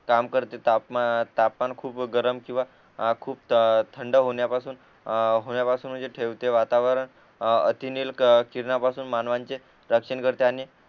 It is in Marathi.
काम करतेत तापमान तापमान खूप गरम किंवा खूप थंड होण्यापासून अ होण्यापासून म्हणजे ठेवते वातावरण अतिरिक्त किरणांपासून मानवांचे रक्षण करते आणि